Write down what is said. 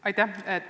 Aitäh!